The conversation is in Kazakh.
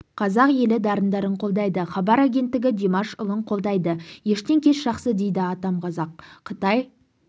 қазақ елі дарындарын қолдайды хабар агенттігі димаш ұлын қолдайды ештен кеш жақсы дейді атам қазақ қытай